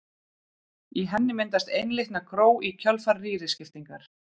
Í henni myndast einlitna gró í kjölfar rýriskiptingar.